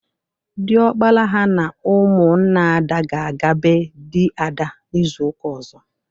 Dịọkpara ha na ụmụnna Ada ga-aga ebe dị Ada n'ịzuụka ọzọ.